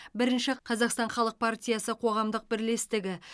бірінші қазақстан халық партиясы қоғамдық бірлестігі